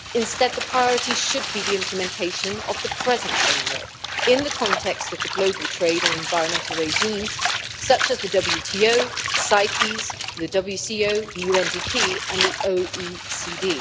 Instead, the priority should be the implementation of the present framework in the context of the global trade and environmental regimes, such as the WTO, CITES, the WCO, the UNDP and the OECD.